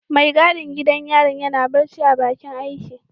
Mai gadin gidan yarin yana barci a bakin aiki.